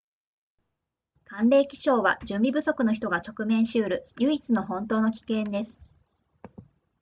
寒冷気象は準備不足の人が直面しうる唯一の本当の危険です